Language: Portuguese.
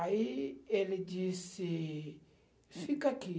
Aí ele disse, fica aqui.